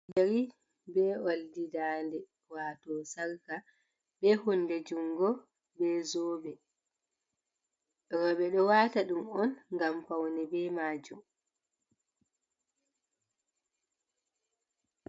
Yeri be oldi dande wato salka ɓe hunde jungo be zobe, roɓɓe ɗo wata ɗum on ngam faune be majum.